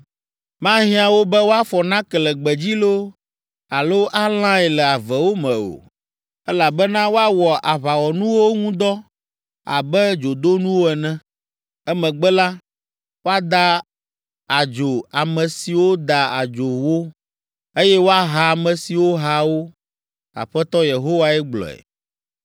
Mahiã wo be woafɔ nake le gbedzi loo alo alãe le avewo me o, elabena woawɔ aʋawɔnuwo ŋu dɔ abe dzodonuwo ene. Emegbe la, woada adzo ame siwo da adzo wo, eye woaha ame siwo ha wo. Aƒetɔ Yehowae gblɔe.